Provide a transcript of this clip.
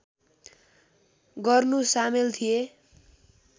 गर्नु सामेल थिए